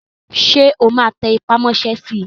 Ṣé o máa tẹpà mọ́ sẹ́ si?